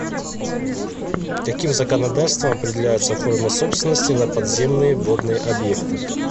каким законодательством определяются формы собственности на подземные водные объекты